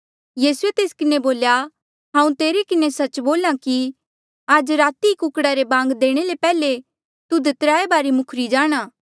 यीसूए तेस किन्हें बोल्या हांऊँ तेरे किन्हें सच्च बोल्हा कि आज राती ई कुकड़ा रे बांग देणे ले पैहले तुध त्राय बारी मुखरी जाणा